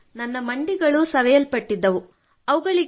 ಹೌದು ನನ್ನ ಮಂಡಿಗಳು ಸವೆಯಲ್ಪಟ್ಟಿದ್ದವು